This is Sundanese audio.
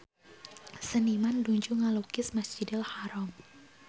Seniman nuju ngalukis Masjidil Haram